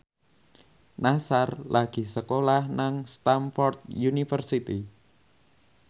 Nassar lagi sekolah nang Stamford University